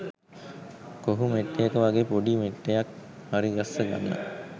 කොහු මෙට්ටයක වගේ පොඩි මෙට්ටයක් හරිගස්ස ගන්න